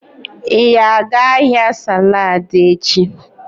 Ị ga-aga ahịa saladi echi?